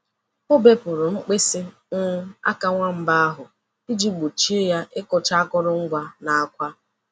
O bepụrụ mkpịsị um aka nwamba ahụ iji gbochie ya ịkụcha akụrụngwa na akwa.